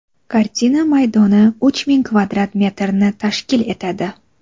Kartina maydoni uch ming kvadrat metrni tashkil etadi.